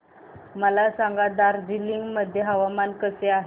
मला सांगा दार्जिलिंग मध्ये हवामान कसे आहे